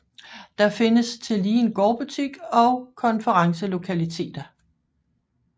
Der findes tillige en gårdbutik og konferencelokaliteter